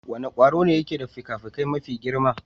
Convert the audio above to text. Wane kwari ne ke da fikafikai mafi girma?